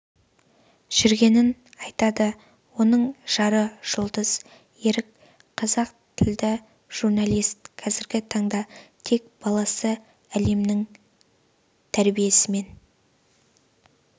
жүргенін айтады оның жары жұлдыз ерік қазақ тілді журналист қазіргі таңда тек баласы әлемнің тәрбиесімен